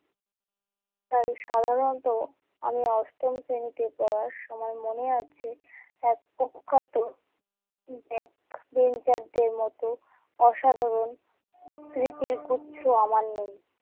তাই সাধারণত আমি অষ্টম শ্রেণীতে পড়ার সময় মনে আছে, এক কুখ্যাত backbencher দের মত অসাধারণ স্মৃতির গুচ্ছ আমার নেই।